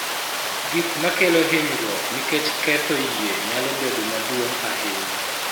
Gik ma kelo hinyruok nikech ketho yie nyalo bedo maduong� ahinya.